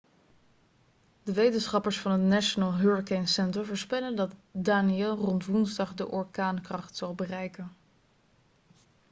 de wetenschappers van het national hurricane center voorspellen dat danielle rond woensdag de orkaankracht zal bereiken